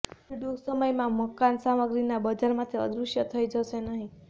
wood ટૂંક સમયમાં મકાન સામગ્રીના બજારમાંથી અદૃશ્ય થઈ જશે નહીં